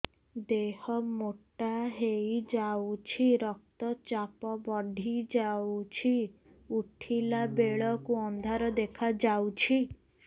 ଦେହ ମୋଟା ହେଇଯାଉଛି ରକ୍ତ ଚାପ ବଢ଼ି ଯାଉଛି ଉଠିଲା ବେଳକୁ ଅନ୍ଧାର ଦେଖା ଯାଉଛି